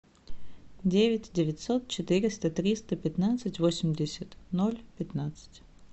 девять девятьсот четыреста триста пятнадцать восемьдесят ноль пятнадцать